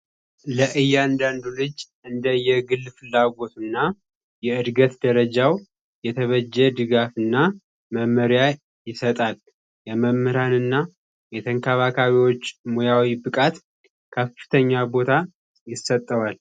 እያንዳንዱ ልጅ እንደየግል ፍላጎትና የእድገት ደረጃው የተበጀ ድጋፍና መመሪያ ይሰጣል የመምህራንና የተንከባካቢዎች ሙያዊ ብቃት ከፍተኛ ቦታ ይሰጠዋል